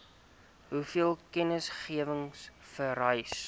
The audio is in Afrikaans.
hoeveel kennisgewing vereis